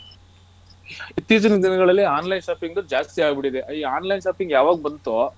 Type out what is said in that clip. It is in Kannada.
ಇತ್ತೀಚಿನ ದಿನಗಳಲ್ಲಿ online shopping ಜಾಸ್ತಿ ಆಗಬಿಟ್ಟಿದೆ ಈ online shopping ಯವಗ ಬಂತೊ.